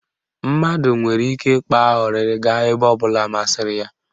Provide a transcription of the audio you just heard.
Mmadụ nwere ike ịkpa ọrịrị gaa ebe ọ bụla masịrị ya.